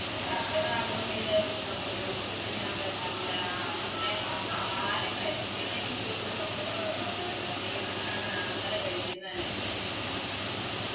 Pressure ആകുന്ന് വിചാരിച്ചിട്ട് നമുക്ക് ഉപ്പ് തിന്നാൻ പറ്റില്ല അങ്ങനെ ഇപ്പൊ ആഹാരം കഴിക്കണെങ്കി പോലും നമ്മള് പേടിച്ചാണ് ആഹാരം കഴിക്കുന്നേ